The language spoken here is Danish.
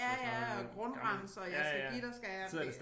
Ja ja og grundrens og jeg skal give dig skal jeg det